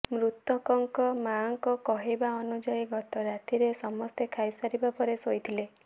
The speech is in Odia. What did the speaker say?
ମୃତଙ୍କ ମାଆଙ୍କ କହିବା ଅନୁଯାୟୀ ଗତ ରାତିରେ ସମସ୍ତେ ଖାଇ ସାରିବା ପରେ ଶୋଇଥିଲେ